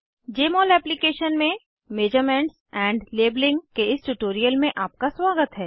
जमोल application में measurements and labelling के इस ट्यूटोरियल में आपका स्वागत है